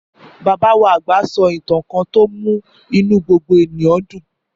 Bàbá wa àgbà sọ ìtàn kan tó mú inú gbogbo èèyàn dùn